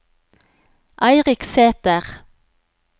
Eirik Sæter